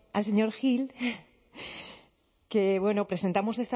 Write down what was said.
al señor gil que bueno presentamos